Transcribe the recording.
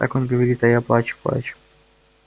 так он говорит а я плачу плачу